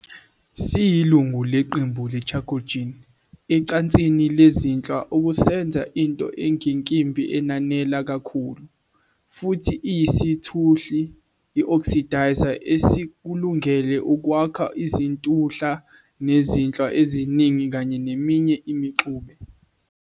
Siyilungu leqembu le-chalcogen ecansini lezinhlwa, okusenza into engenkimbi enanela kakhulu, futhi iyisithuhli "oxidizer" esikulungele ukwakha izintuhla nezinhlwa eziningi kanye neminye imixube.